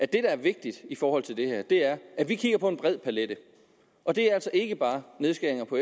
der er vigtigt i forhold til det her er at vi kigger på en bred palet det er altså ikke bare nedskæringer på